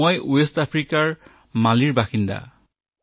মই দক্ষিণ আফ্ৰিকাৰ মালী প্ৰদেশৰ বাসিন্দা